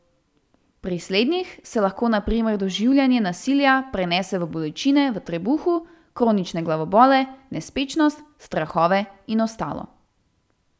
Pri slednjih se lahko na primer doživljanje nasilja prenese v bolečine v trebuhu, kronične glavobole, nespečnost, strahove in ostalo.